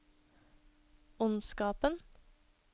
ondskapen